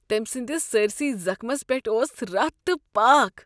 تمۍ سٕندس سٲرۍسٕے زخمس پیٹھ اوس رتھ تہٕ پاكھ ۔